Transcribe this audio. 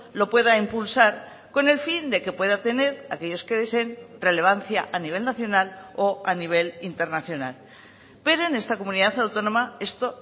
lo pueda impulsar con el fin de que pueda tener aquellos que deseen relevancia a nivel nacional o a nivel internacional pero en esta comunidad autónoma esto